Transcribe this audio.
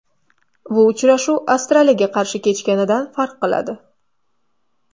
Bu uchrashuv Avstraliyaga qarshi kechganidan farq qiladi.